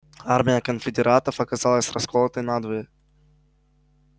армия конфедератов оказалась расколотой надвое